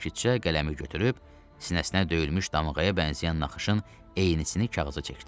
Sakitcə qələmi götürüb sinəsinə döyülmüş damğaya bənzəyən naxışın eynisini kağıza çəkdi.